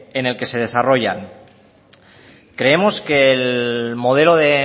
en el que se desarrolla creemos que el modelo de